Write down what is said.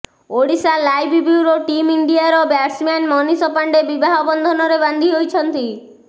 Odisha live bureau team ଇଣ୍ଡିଆର batsman Manish Pandey ବିବାହ ବନ୍ଧନରେ ବାନ୍ଧି ହୋଇଛନ୍ତି